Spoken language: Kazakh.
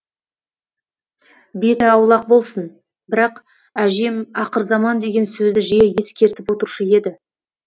беті аулақ болсын бірақ әжем ақырзаман деген сөзді жиі ескертіп отырушы еді